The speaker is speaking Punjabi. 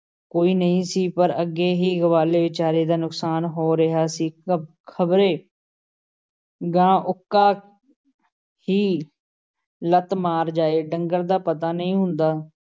ਕੋਈ ਨਹੀਂ ਸੀ । ਪਰ ਅੱਗੇ ਹੀ ਗਵਾਲੇ ਵਿਚਾਰੇ ਦਾ ਨੁਕਸਾਨ ਹੋ ਰਿਹਾ ਸੀ, ਖ਼ਬਰੇ ਗਾਂ ਉੱਕਾ ਹੀ ਲੱਤ ਮਾਰ ਜਾਏ, ਡੰਗਰ ਦਾ ਪਤਾ ਨਹੀਂ ਹੁੰਦਾ,